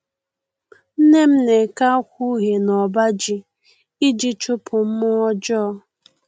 Nne m na-eke akwa uhie n'ọbaji iji chụpụ mmụọ ọjọọ